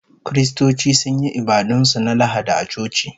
Kiristoci sun yi ibadun su na Lahadi a coci